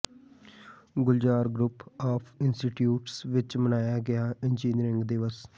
Gulzar group of institutes ਵਿਚ ਮਨਾਇਆ ਗਿਆ ਇੰਜੀਨੀਅਰਿੰਗ ਦਿਵਸ